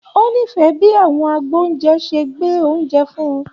O n'ifẹ bi àwọn agboúnjẹ ṣe gbé oúnjẹ fún-ùn.